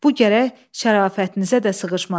Bu gərək şərafətinizə də sığışmasın.